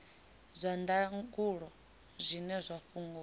zwa ndangulo zwine zwa fhungudza